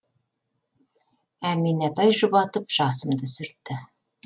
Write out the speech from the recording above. әмина апай жұбатып жасымды сүртті